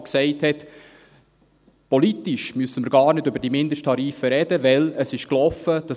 Dieser sagte, politisch müssten wir gar nicht über die Mindesttarife sprechen, weil es gelaufen ist.